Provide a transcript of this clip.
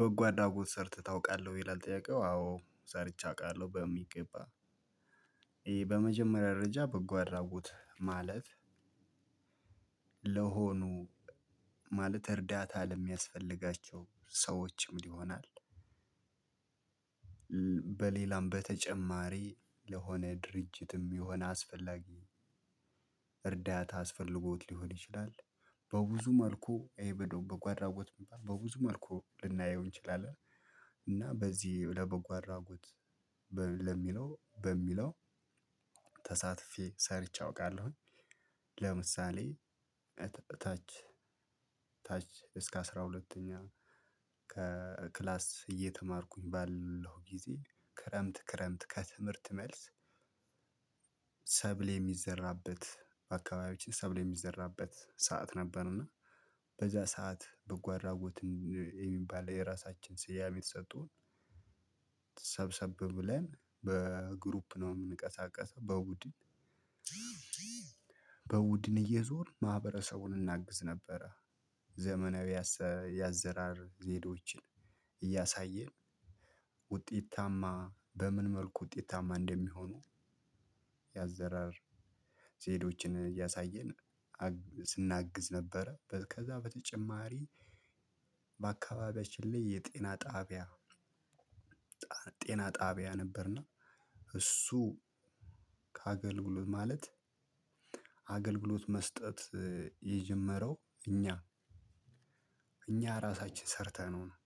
በጎ አድርጎት ሰርተህ ታውቃለህ ይላል ጥያቄው አዎ ሰርቸ አውቃለሁ በሚገባ። በመጀመሪያ ደረጃ በጎአድራጎት ማለት ለሆኑ ማለት እርዳታ ለሚያስፈልጋቸው ሰዎችም ይሆናል። በሌላም በተጨማሪ ለሆነ ድርጅትም የሆነ አስፈላጊ እርዳታ አስፈልጎት ሊሆን ይችላል። በብዙ መልኩ በጎአድራጎት እሚባል በብዙ መልኩ ልናየው እንችላለን። እና በዚህ ለበጎ አድራጎት ለሚለው በሚለው ተሳትፌ ሰርቼ አውቃለሁኝ። ለምሳሌ ታች እስከ አስራ ሁለተኛ ከክላስ እየተማርኩኝ ባለው ጊዜ ክረምት ክረምት ከትምህርት መልስ ሰብል የሚዘራበት አካባቢያችን ሰብል የሚዘራበት ሰዓት ነበር። እና በዚያ ሰዓት በጓአድርጎት የሚባል የራሳችን ስያሜ ተሰጥቶን ሰብሰብ ብለን በግሩፕ ነው የምንቀሳቀሰው በቡድን በውድን እየዞርን ማህበረሰቡን እናግዝ ነበረ። ዘመናዊ ያዘራር ዘዴዎችን እያሳየን ውጤታማ በምን መልኩ ውጤታማ እንደሚሆኑ ያዘራር ዘዴዎችን እያሳየን ስናግዝ ነበረ። ከዛ በተጨማሪ በአካባቢያችን ላይ የጤና ጣቢያ። ጤና ጣቢያ ነበርና እሱ ከአገልግሎት ማለት አገልግሎት መስጠት የጀመረው እኛ እኛ ራሳችን ሰርተነው ነው።